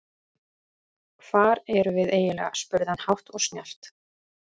Hvar erum við eiginlega spurði hann hátt og snjallt.